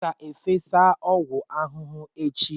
M ga-efesa ọgwụ ahụhụ echi.